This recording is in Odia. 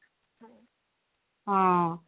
ହଁ